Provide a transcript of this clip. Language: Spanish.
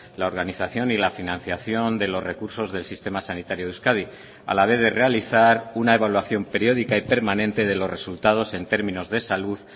la organización y la financiación de los recursos del sistema sanitario de euskadi a la vez de realizar una evaluación periódica y permanente de los resultados en términos de salud